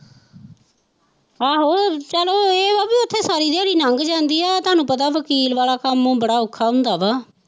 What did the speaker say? ਆਹੋ ਚੱਲ ਇਹ ਹੈ ਵੀ ਉੱਥੇ ਸਾਰੀ ਦਿਹਾੜੀ ਲੰਘ ਜਾਂਦੀ ਹੈ ਤੁਹਾਨੂੰ ਪਤਾ ਵਕੀਲ ਵਾਲਾ ਕੰਮ ਬੜਾ ਅੋਖਾ ਹੁੰਦਾ ਵਾ।